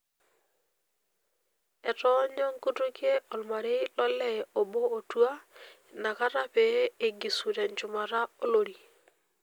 Etoonyo nkutukie olmarei lolee obo otua inakata pee eigisu tenchumata olori.